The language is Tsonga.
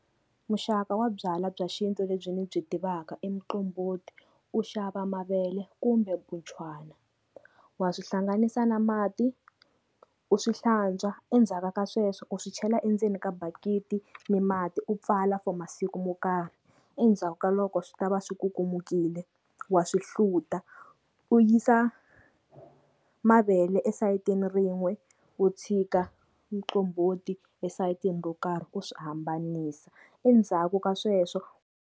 Muxaka wa byalwa bya xintu lebyi ndzi byi tivaka i muqombhoti, u xava mavele kumbe buchwana, wa swi hlanganisa na mati u swi hlantswa endzhaka ka sweswo u swi chela endzeni ka bakiti ni mati u pfala for masiku mo karhi, endzhaku ka loko swi ta va swi ku kumekile wa swi hluta, u yisa mavele esayitini rin'we u tshika muqombhoti esayitini ro karhi u swi hambanisa endzhaku ka sweswo.